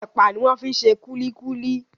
Epa ní wón fí ṣe kulikuli